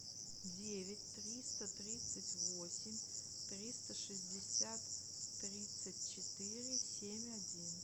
девять триста тридцать восемь триста шестьдесят тридцать четыре семь один